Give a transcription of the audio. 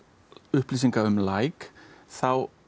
upplýsinga um læk þá